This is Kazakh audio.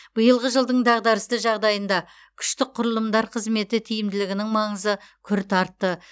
биылғы жылдың дағдарысты жағдайында күштік құрылымдар қызметі тиімділігінің маңызы күрт артты